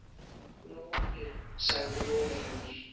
Lóa mín, sagði móðir hennar.